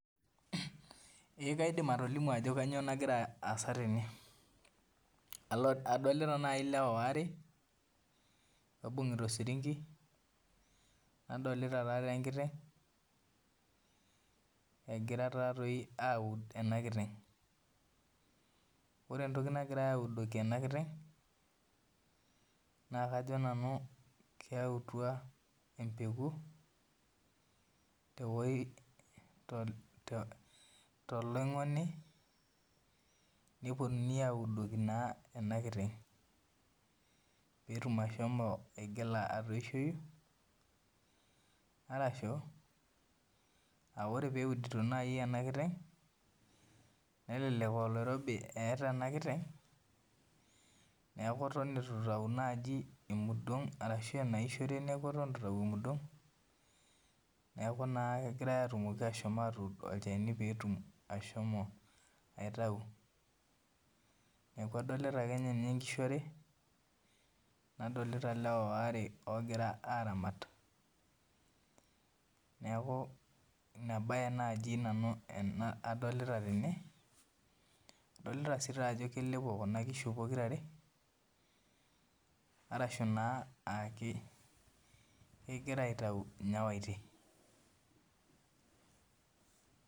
Ee kaidim atolimu ajo kainyoo nagira aasa tene, adolita naaji ilewa waare, oibung'ita osirinki, nadolita taadoi enkiteng' egirai taa doi aud ena kiteng', ore entoki naagirai audoki ena kiteng' naa kajo nanu keyautua embeku tewueji toloing'oni nepuonu audoki naa ena kiteng' pee etum ashomo aigila atooshoki, arashu, ore taa lee eudito naaji ena kiteng', nelelek aa oloirobi eata ena kiteng' neaku eton eitu naaji eitayu emudong' arashu enaishore neaku ewuen eitu eitayu emudong'. Neaku naa epuoitai ashomo atuud olchani pee etumoki ashomo ashomo aitayu, neaku adolita ake iyie nanu inkishu are, nadolita ilewa waare ogira aramat , neaku Ina baye naaji nanu adolita tene, adolita sii ajo kelepo Kuna kishu pokira are, arashu naa kegira aitayu inyawaitin.